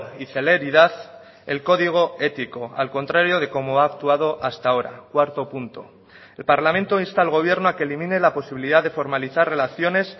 y celeridad el código ético al contrario de como ha actuado hasta ahora cuarto punto el parlamento insta al gobierno a que elimine la posibilidad de formalizar relaciones